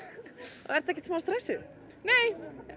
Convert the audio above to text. og ertu ekkert smá stressuð nei